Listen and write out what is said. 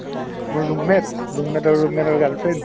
মোৰ roommate roommate ৰ roommate ৰ girlfriend